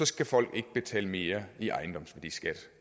skal folk ikke betale mere i ejendomsværdiskat